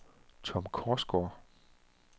Tom Korsgaard